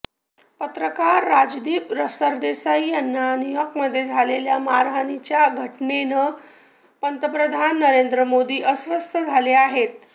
पत्रकार राजदीप सरदेसाई यांना न्यूयॉर्कमध्ये झालेल्या मारहानीच्या घटनेनं पंतप्रधान नरेंद्र मोदी अस्वस्थ झाले आहेत